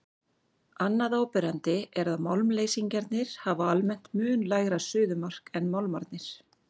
Annað áberandi er að málmleysingjarnir hafa almennt mun lægra suðumark en málmarnir.